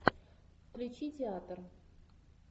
включи театр